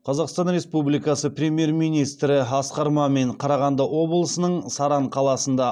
қазақстан республикасы премьер министрі асқар мамин қарағанды облысының саран қаласында